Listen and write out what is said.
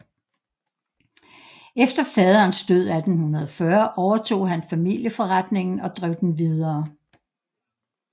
Efter faderens død 1840 overtog han familieforretningen og drev den videre